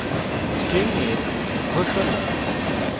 string এর ঘোষণা